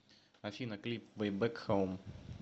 афина клип вэй бэк хоум